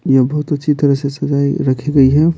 यह बहुत अच्छी तरह से सजाई रखी गई है।